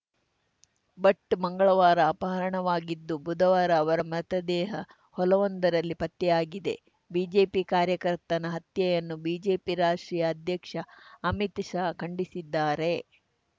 ಭಟ್‌ ಮಂಗಳವಾರ ಅಪಹರಣವಾಗಿದ್ದು ಬುಧವಾರ ಅವರ ಮೃತದೇಹ ಹೊಲವೊಂದರಲ್ಲಿ ಪತ್ತೆಯಾಗಿದೆ ಬಿಜೆಪಿ ಕಾರ್ಯಕರ್ತನ ಹತ್ಯೆಯನ್ನು ಬಿಜೆಪಿ ರಾಷ್ಟ್ರೀಯ ಅಧ್ಯಕ್ಷ ಅಮಿತ್‌ ಶಾ ಖಂಡಿಸಿದ್ದಾರೆ